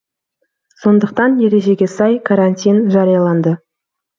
сондықтан ережеге сай карантин жарияланды